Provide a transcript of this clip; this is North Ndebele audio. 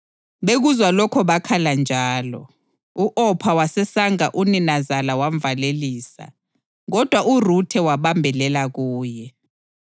Bekuzwa lokho bakhala njalo. U-Opha wasesanga uninazala wamvalelisa, kodwa uRuthe wabambelela kuye.